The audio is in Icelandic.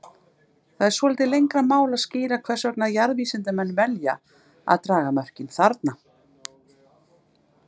Það er svolítið lengra mál að skýra hvers vegna jarðvísindamenn velja að draga mörkin þarna.